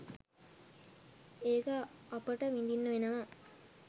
ඒක අපට විඳින්න වෙනවා.